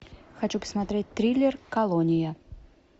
хочу посмотреть триллер колония